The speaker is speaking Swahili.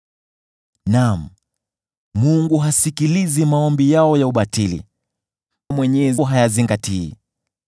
Naam, Mungu hasikilizi maombi yao ya ubatili; Mwenyezi hayazingatii.